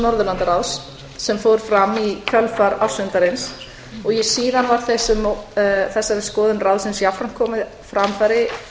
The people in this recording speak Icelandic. norðurlandaráðs sem fór fram í kjölfar ársfundarins og síðan var þessari skoðun ráðsins jafnframt komið á framfæri